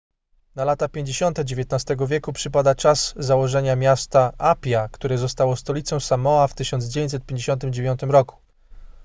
na lata 50 xix wieku przypada czas założenia miasta apia które zostało stolicą samoa w 1959 roku